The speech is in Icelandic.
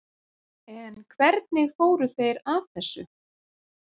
En hvernig fóru þeir að þessu?